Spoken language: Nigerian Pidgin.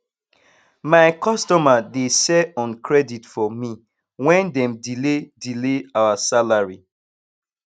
my customer dey sell on credit for me wen dem delay delay our salary